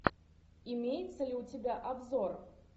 имеется ли у тебя обзор